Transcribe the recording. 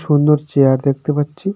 সুন্দর চেয়ার দেখতে পাচ্ছি।